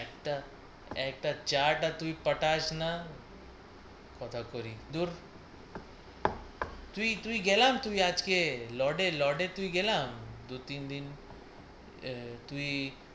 একটা, একটা চাটা তুই পাঠাস না কথা করি দূর তুই তুই গেলা তুই আজকে লোডে লোডে তুই গেলা দু তিন দিন আহ তুই